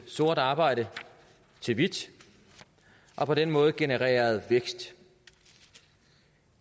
sort arbejde til hvidt og på den måde genereret vækst